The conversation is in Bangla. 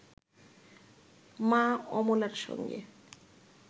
মা অমলার সঙ্গে